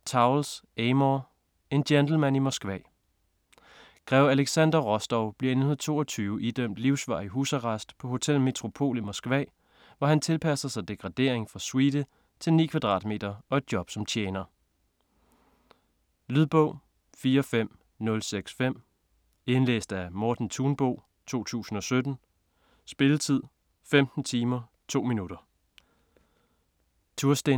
Towles, Amor: En gentleman i Moskva Grev Alexander Rostov bliver i 1922 idømt livsvarig husarrest på Hotel Metropol i Moskva, hvor han tilpasser sig degradering fra suite til 9 kvadratmeter og et job som tjener. Lydbog 45065 Indlæst af Morten Thunbo, 2017. Spilletid: 15 timer, 2 minutter.